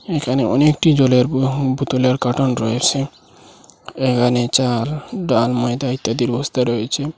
এখানে অনেকটি জলের বোতলের কার্টোন রয়েছে এখানে চাল ডাল ময়দা ইত্যাদির বস্তা রয়েছে।